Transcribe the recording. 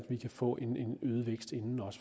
få en øget vækst inden